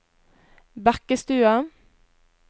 Bekkestua